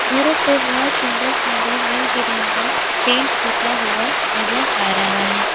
घरों पे बोहोत सुंदर सुंदर रंग बिरंगा पेंट पुता हुआ नजर आ रहा है।